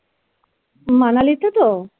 manali তে তো?